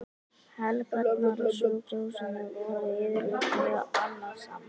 Helgarnar á sjúkrahúsinu voru yfirleitt mjög annasamar.